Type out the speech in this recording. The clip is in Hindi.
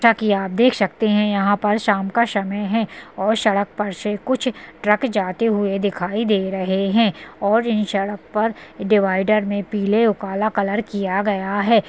ताकि आप देख सकते हैं यहाँ पर शाम का समय है और सड़क पर से कुछ ट्रक जाते हुए दिखायी दे रहे हैं और इन सड़क पर डिवाईडर में पीले और काला कलर किया गया है।